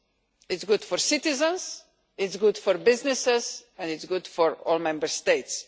it is good for citizens, it is good for businesses and it is good for all Member States.